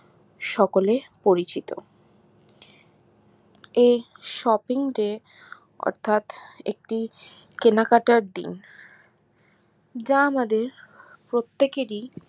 সকলে পরিচিত এই shopping day অর্থাৎ একটি কেনাকাটার দিন যা আমাদের প্রত্যেকেরই